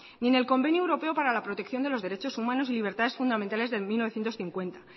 ni en el convenio europeo para la protección de los derechos humanos y libertades fundamentales de mil novecientos cincuenta